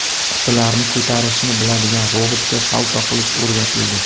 Qutilarni ko‘tarishni biladigan robotga salto qilish o‘rgatildi.